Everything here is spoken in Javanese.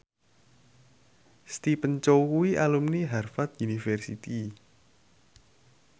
Stephen Chow kuwi alumni Harvard university